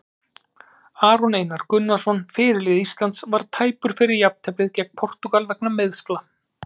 Aron Einar Gunnarsson, fyrirliði Íslands, var tæpur fyrir jafnteflið gegn Portúgal vegna meiðsla.